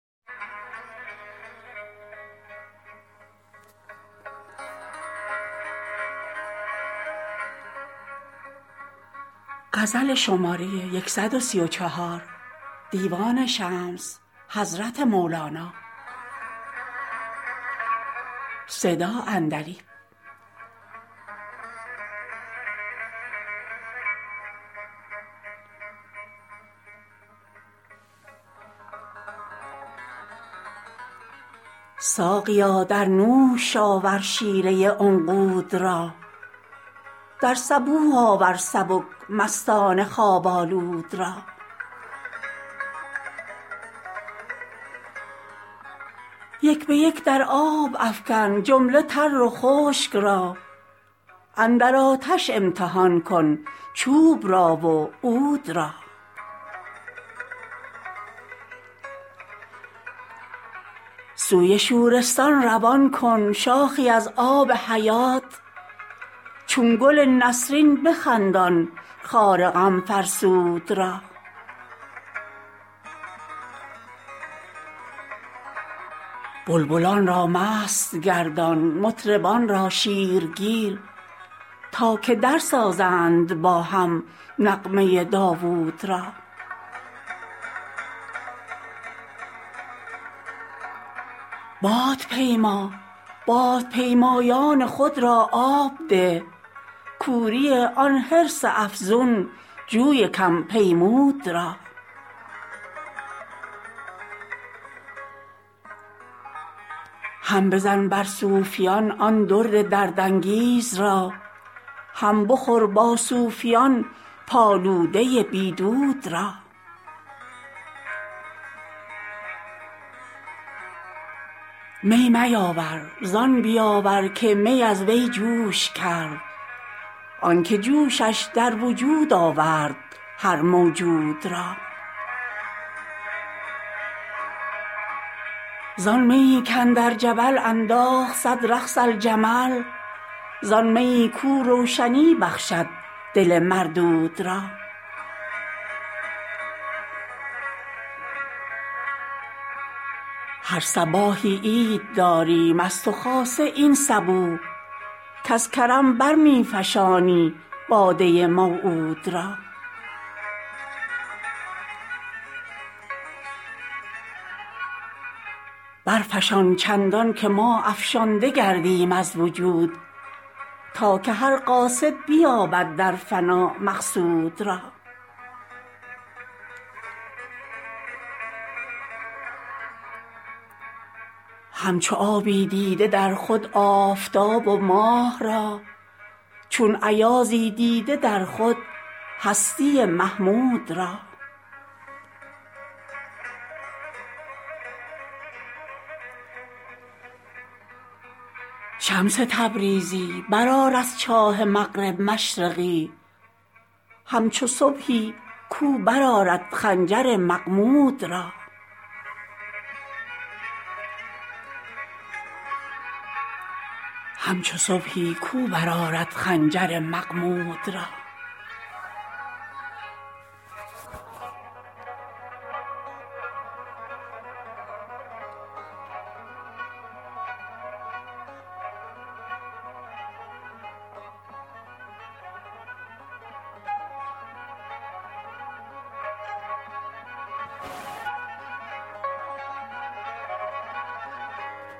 ساقیا در نوش آور شیره عنقود را در صبوح آور سبک مستان خواب آلود را یک به یک در آب افکن جمله تر و خشک را اندر آتش امتحان کن چوب را و عود را سوی شورستان روان کن شاخی از آب حیات چون گل نسرین بخندان خار غم فرسود را بلبلان را مست گردان مطربان را شیرگیر تا که درسازند با هم نغمه داوود را بادپیما بادپیمایان خود را آب ده کوری آن حرص افزون جوی کم پیمود را هم بزن بر صافیان آن درد دردانگیز را هم بخور با صوفیان پالوده بی دود را می میاور زان بیاور که می از وی جوش کرد آنک جوشش در وجود آورد هر موجود را زان میی کاندر جبل انداخت صد رقص الجمل زان میی کاو روشنی بخشد دل مردود را هر صباحی عید داریم از تو خاصه این صبوح که ز کرم بر می فشانی باده موعود را برفشان چندانکه ما افشانده گردیم از وجود تا که هر قاصد بیابد در فنا مقصود را همچو آبی دیده در خود آفتاب و ماه را چون ایازی دیده در خود هستی محمود را شمس تبریزی برآر از چاه مغرب مشرقی همچو صبحی کاو برآرد خنجر مغمود را